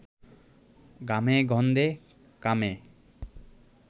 ঘামে গন্ধে, কামে